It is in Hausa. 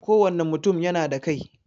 Kowane mutum yana da kai.